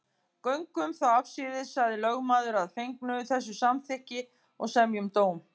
Göngum þá afsíðis, sagði lögmaður að fengnu þessu samþykki, og semjum dóm.